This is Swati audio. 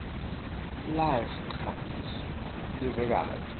livekati